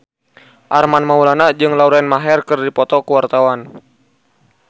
Armand Maulana jeung Lauren Maher keur dipoto ku wartawan